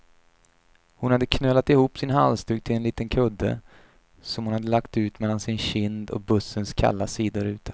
Hon hade knölat ihop sin halsduk till en liten kudde, som hon hade lagt mellan sin kind och bussens kalla sidoruta.